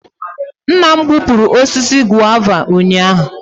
Nna m gbupụrụ osisi guava ụnyahụ